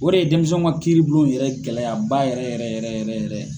O de ye denmisɛnw ka kiiri bulon yɛrɛ gɛlɛyaba yɛrɛ yɛrɛ yɛrɛ